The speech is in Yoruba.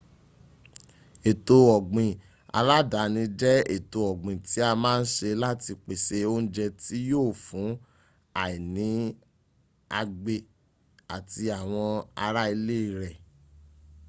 ètò ọ̀gbìn aládàáni jẹ́ ètò ọ́gbìn tí a má ń se láti pèsè oúnjẹ tí yíò fún àìní àgbẹ̀ àti àwọn ará ilé rẹ̀